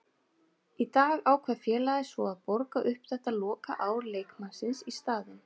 Í dag ákvað félagið svo að borga upp þetta lokaár leikmannsins í staðinn.